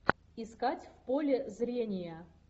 искать в поле зрения